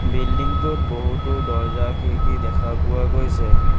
Building টোত বহুতো দৰ্জ্জা খিৰিকী দেখা পোৱা গৈছে।